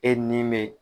E ni bɛ